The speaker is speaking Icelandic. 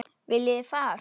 Viljið þið far?